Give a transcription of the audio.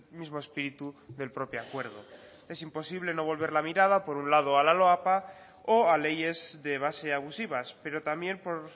mismo espíritu del propio acuerdo es imposible no volver la mirada por un lado a la loapa o a leyes de base abusivas pero también por